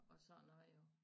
Og sådan noget jo